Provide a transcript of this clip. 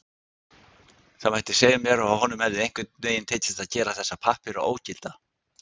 Það mætti segja mér að honum hefði einhvern veginn tekist að gera þessa pappíra ógilda.